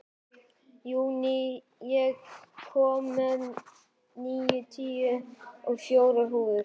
Júní, ég kom með níutíu og fjórar húfur!